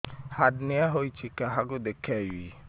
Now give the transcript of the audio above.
hernia ହୋଇଛି କାହାକୁ ଦେଖେଇବି